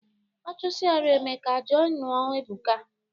Ọ chụsịarụ Emeka, je nụọ Ebuka